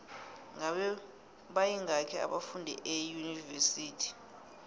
ngabe bayingaki abafundi eunivesithi